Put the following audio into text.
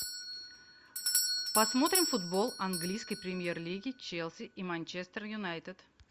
посмотрим футбол английской премьер лиги челси и манчестер юнайтед